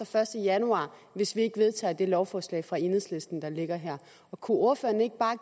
første januar hvis vi ikke vedtager det lovforslag fra enhedslisten der ligger her kunne ordføreren ikke